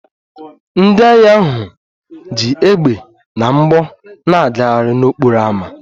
Ndị agha ahụ ji égbè na mgbọ na-agagharị n'okporo ámá